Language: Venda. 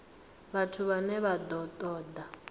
vhathu vhane vha ṱo ḓa